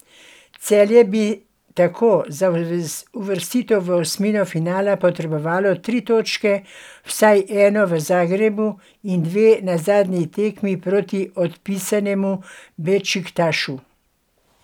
Celje bi tako za uvrstitev v osmino finala potrebovalo tri točke, vsaj eno v Zagrebu in dve na zadnji tekmi proti odpisanemu Bešiktašu.